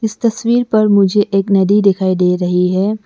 इस तस्वीर पर मुझे एक नदी दिखाई दे रही है।